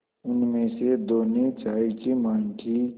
उनमें से दो ने चाय की माँग की